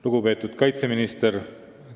Lugupeetud kaitseminister!